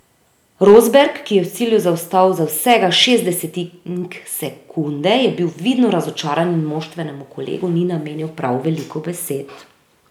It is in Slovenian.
Rosberg, ki je v cilju zaostal za vsega šest desetink sekunde, je bil vidno razočaran in moštvenemu kolegu ni namenil prav veliko besed.